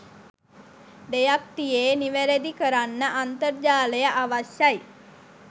දෙයක් තියේ නිවැරදි කරන්න අන්තර්ජාලය අවශ්‍යයි.